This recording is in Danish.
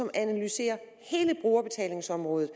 at analysere hele brugerbetalingsområdet